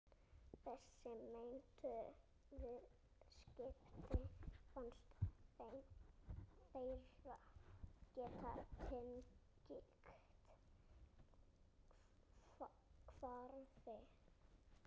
Þessi meintu viðskipti fannst þeim þeir geta tengt hvarfi